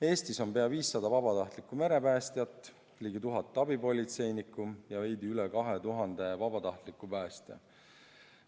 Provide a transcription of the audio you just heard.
Eestis on pea 500 vabatahtlikku merepäästjat, ligi 1000 abipolitseinikku ja veidi üle 2000 vabatahtliku päästja.